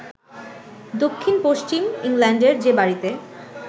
দক্ষিণ-পশ্চিম ইংল্যান্ডের যে বাড়িতে